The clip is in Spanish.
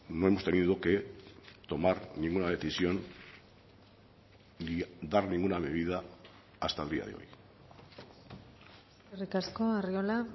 no hemos tenido que tomar ninguna decisión ni dar ninguna medida hasta el día de hoy eskerrik asko arriola